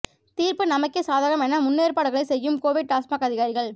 தீர்ப்பு நமக்கே சாதகம் என முன்னேற்பாடுகளை செய்யும் கோவை டாஸ்மாக் அதிகாரிகள்